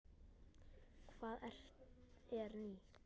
Hvað er nýtt?